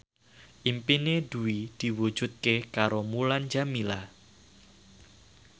impine Dwi diwujudke karo Mulan Jameela